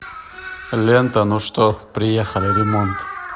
лента ну что приехали ремонт